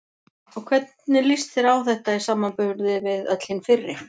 Og hvernig líst þér á þetta í samanburði við öll hin fyrri?